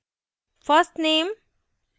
first _ name